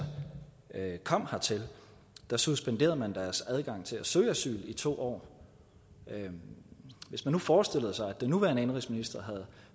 kom hertil suspenderede man deres adgang til at søge asyl i to år hvis man nu forestillede sig at den nuværende indenrigsminister